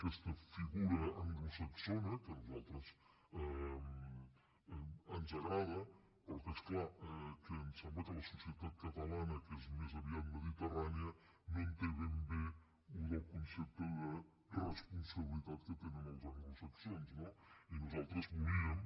aquesta figura anglosaxona que a nosaltres ens agrada però que és clar ens sembla que la societat catalana que és més aviat mediterrània no té ben bé el concepte de responsabilitat que tenen els anglosaxons no i nosaltres volíem